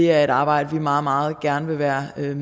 er et arbejde vi meget meget gerne vil være med